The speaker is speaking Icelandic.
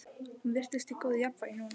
Hún virtist í góðu jafnvægi núna.